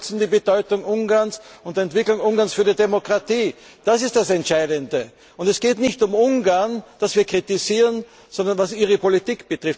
Sie. Sie unterschätzen die Bedeutung Ungarns und der Entwicklung Ungarns für die Demokratie. Das ist das Entscheidende. Es geht nicht um Ungarn, das wir kritisieren, sondern um Ihre Politik.